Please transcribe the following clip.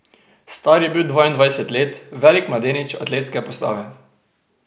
Star je bil dvaindvajset let, velik mladenič atletske postave.